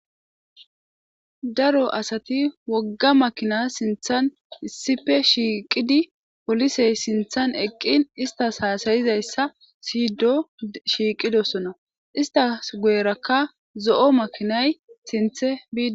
Daro asati wogga makina sinthan issippe shiiqidi polisey sinthan eqqin istas haasayizayssa siydo shiiqidosona. Istas goyrakka zo7o makinay sinthe bidi.